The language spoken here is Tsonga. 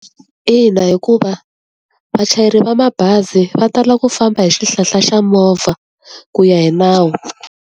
Ina hikuva vachayeri va mabazi va tala ku famba hi xihlahla xa movha, ku ya hi nawu.